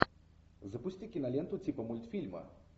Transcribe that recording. запусти киноленту типа мультфильма